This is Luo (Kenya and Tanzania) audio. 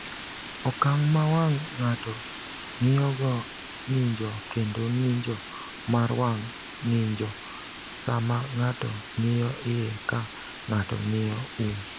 "Okang’ ma wang’ ng’ato ng’iyogo ng’injo kendo ng’injo mar wang’ ng’injo sama ng’ato ng’iyo iye ka ng’ato ng’iyo um."